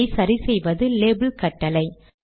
இதை சரி செய்வது லேபல் கட்டளை